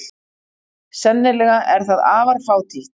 Sennilega er það afar fátítt.